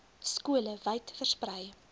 skole wyd versprei